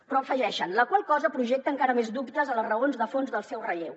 però hi afegeixen la qual cosa projecta encara més dubtes en les raons de fons del seu relleu